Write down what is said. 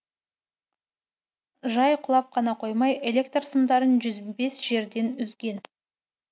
жай құлап қана қоймай электр сымдарын жүз бес жерден үзген